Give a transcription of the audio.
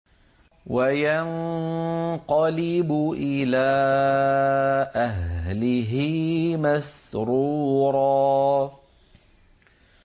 وَيَنقَلِبُ إِلَىٰ أَهْلِهِ مَسْرُورًا